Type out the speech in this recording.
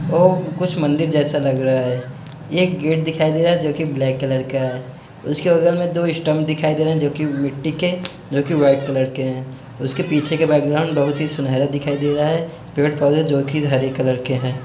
वो कुछ मंदिर जैसा लग रहा है एक गेट दिखाई दे रहा है जोकि ब्लैक कलर का है उसके बगल में दो स्तंभ दिखाई दे रहें हैं जोकि मिट्टी के जोकि व्हाइट कलर के हैं उसके पीछे का बैकग्राउंड बहुत ही सुनहरा दिखाई दे रहा है पेड़-पौधे जोकि हरे कलर के हैं।